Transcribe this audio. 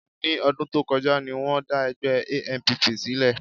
Ní ọdún tó kọjá ni wọ́n dá ẹgbẹ́ ANPP sílẹ̀